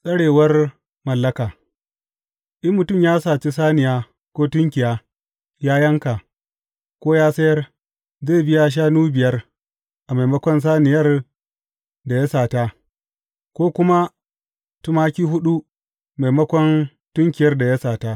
Tsarewar mallaka In mutum ya saci saniya ko tunkiya ya yanka, ko ya sayar, zai biya shanu biyar, a maimakon saniyar da ya sata, ko kuma tumaki huɗu, maimakon tunkiyar da ya sata.